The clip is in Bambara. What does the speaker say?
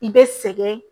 I bɛ sɛgɛn